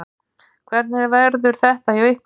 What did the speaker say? Hvernig verður þetta hjá ykkur?